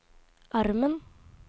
armen